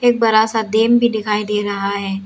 एक बड़ा सा डैम भी दिखाई दे रहा है।